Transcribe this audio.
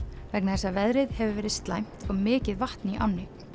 vegna þess að veðrið hefur verið slæmt og mikið vatn í ánni